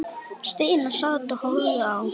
Stína sat og horfði á.